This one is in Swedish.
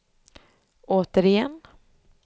återigen